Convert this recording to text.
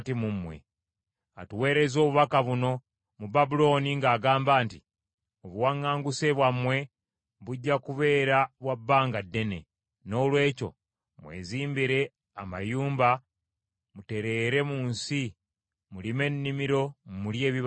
Atuweerezza obubaka buno mu Babulooni ng’agamba nti, Obuwaŋŋanguse bwammwe bujja kubeera bwa bbanga ddene. Noolwekyo mwezimbire amayumba mutereere mu nsi, mulime ennimiro mulye ebibala byamu.’ ”